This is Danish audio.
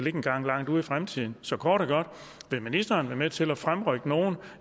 engang langt ude i fremtiden så kort og godt vil ministeren være med til at fremrykke nogle